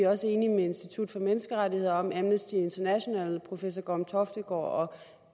også enige med institut for menneskerettigheder amnesty international professor gorm toftegaard og